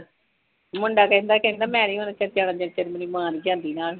ਮੁੰਡਾ ਕਹਿੰਦਾ ਕਿ ਮੈਂ ਨਹੀਂ ਓਹਨਾ ਚਿਰ ਜਾਣਾ ਜਦੋ ਤਕ ਮੇਰੀ ਮਾਂ ਨਹੀਂ ਜਾਂਦੀ ਮੇਰੇ ਨਾਲ